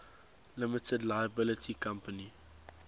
limited liability company